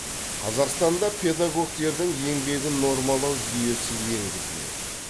қазақстанда педагогтердің еңбегін нормалау жүйесі енгізіледі